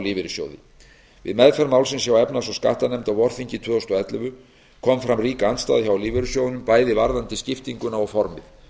lífeyrissjóði við meðferð málsins hjá efnahags og skattanefnd á vorþingi tvö þúsund og ellefu kom fram rík andstaða hjá lífeyrissjóðunum bæði varðandi skiptinguna og formið